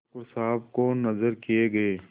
ठाकुर साहब को नजर किये गये